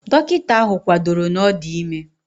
Dọkịta ahụ kwadoro na ọ dị ime